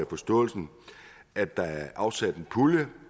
forståelsen at der er afsat en pulje